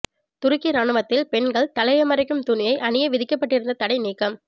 துருக்கி ராணுவத்தில் பெண்கள் தலையை மறைக்கும் துணியை அணிய விதிக்கப்பட்டிருந்த தடை நீக்கம்